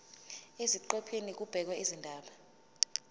eziqephini kubhekwe izindaba